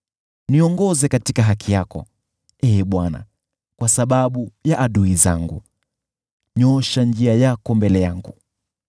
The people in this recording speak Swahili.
Niongoze katika haki yako, Ee Bwana , kwa sababu ya adui zangu, nyoosha njia yako mbele yangu.